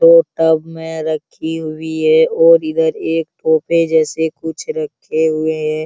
दो टब में रखी हुई है और इधर एक जैसे कुछ रखे हुए हैं।